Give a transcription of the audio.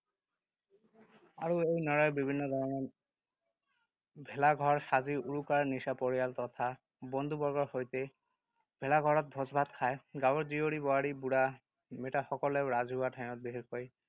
আৰু এই নৰাৰে বিভিন্ন ধৰণৰ ভেলাঘৰ সাজি উৰুকাৰ নিশা পৰিয়াল তথা বন্ধু-বৰ্গৰ সৈতে ভেলাঘৰত ভোজ-ভাত খায়। গাঁৱৰ জীয়ৰী-বোৱাৰী, বুঢ়া মেঠাসকলেও ৰাজহুৱা ঠাইত, বিশেষকৈ